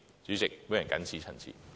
主席，我謹此陳辭。